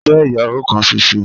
Fe iyawo kan ṣoṣo.